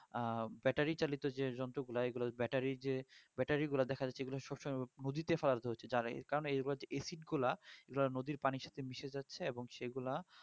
আ battery চালিত যে যন্ত্রগুলা এইগুলা ব্যাটারি যে ব্যাটারিগুলা দেখা যাচ্ছে এগুলা সবসময় মুজিতে ফালতু হচ্ছে যারাই কারণ এইবার যে acid গুলা এইগুলা নদীর পানির সাথে মিশে যাচ্ছে এবং সেগুলা